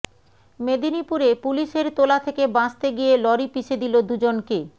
মেদিনীপুরে পুলিশের তোলা থেকে বাঁচতে গিয়ে লরি পিষে দিল দুজনকে